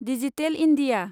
digital India